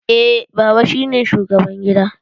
Eh, baba shi ne shugaban gida